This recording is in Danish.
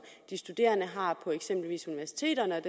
de studerende har på eksempelvis universiteterne